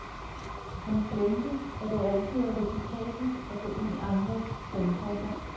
Han glemte, at det altid er risikabelt at gå ind i andres sandkasser.